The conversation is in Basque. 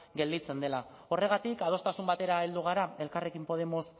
gelditzen dela horregatik adostasun batera heldu gara elkarrekin podemos